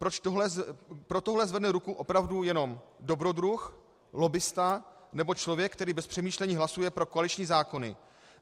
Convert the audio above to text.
Pro tohle zvedne ruku opravdu jenom dobrodruh, lobbista nebo člověk, který bez přemýšlení hlasuje pro koaliční zákony.